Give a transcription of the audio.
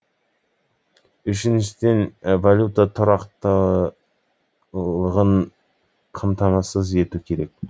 үшіншіден валюта тұрақтылығын қамтамасыз ету керек